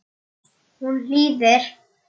Örn tók nistið varlega upp.